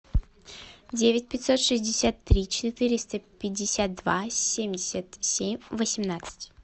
девять пятьсот шестьдесят три четыреста пятьдесят два семьдесят семь восемнадцать